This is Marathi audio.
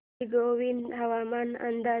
श्रीगोंदा हवामान अंदाज